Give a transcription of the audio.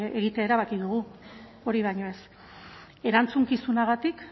egitea erabaki dugu hori baino ez erantzukizunagatik